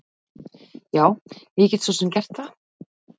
Já, ég get svo sem gert það.